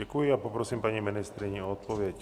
Děkuji a poprosím paní ministryni o odpověď.